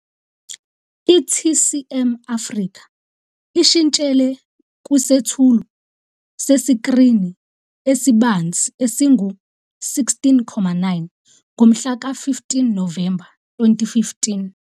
I-TCM Africa ishintshele kwisethulo sesikrini esibanzi esingu-16- 9 ngomhlaka 15 Novemba 2015.